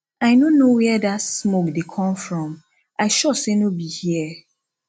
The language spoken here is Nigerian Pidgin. i no know where dat smoke dey come from i sure say no be here